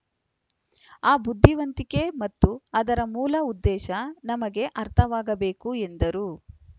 ಆ ಬುದ್ದಿವಂತಿಕೆ ಮತ್ತು ಅದರ ಮೂಲ ಉದ್ದೇಶ ನಮಗೆ ಅರ್ಥವಾಗಬೇಕು ಎಂದರು